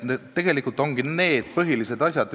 Tegelikult ongi need põhilised asjad.